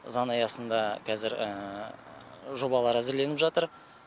заң аясында қазір жобалар әзірленіп жатыр